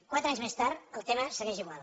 quatre anys més tard el tema segueix igual